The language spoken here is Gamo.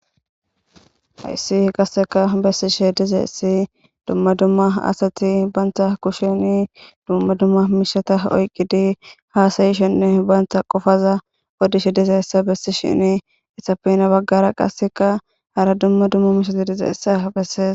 Haysi qaseka besishe dizaysi duma duma ha asata banta koshane duma duma mishata oykidi hasayshenne banta qopa odishe dizaysa besishe dizaysa hesappe gede bagara hara duma duma mishati dizaysa beses